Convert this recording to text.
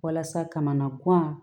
Walasa kamana kura